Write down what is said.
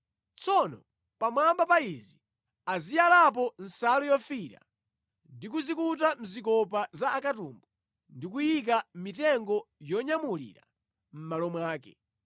Tsono pamwamba pa izi aziyalapo nsalu yofiira, ndi kuzikuta mʼzikopa za akatumbu ndi kuyika mitengo yonyamulira mʼmalo mwake.